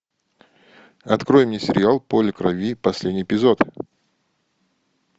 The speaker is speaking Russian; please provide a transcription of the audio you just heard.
открой мне сериал поле крови последний эпизод